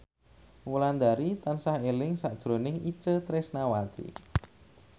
Wulandari tansah eling sakjroning Itje Tresnawati